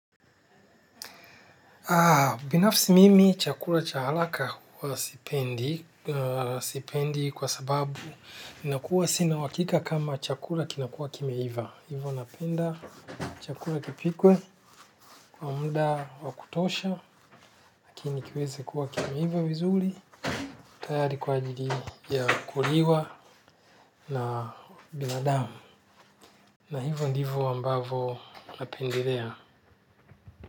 Binafisi mimi, chakula cha haraka huwa sipendi kwa sababu nina kuwa sina uhakika kama chakula kinakua kimeiva. Hivo napenda chakula kipikwe kwa muda wakutosha, lakini kiweze kuwa kimeiva vizuri. Tayari kwa ajili ya kuliwa na binadamu. Na hivyo ndivyo ambavyo napendelea.